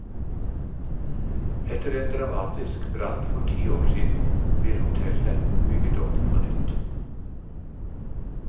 Etter en dramatisk brann for ti år siden, blir hotellet bygget opp på nytt.